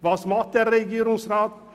Was tut der Regierungsrat?